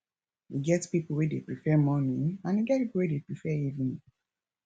e get pipo wey dey prefer morning and e get pipo wey dey prefer evening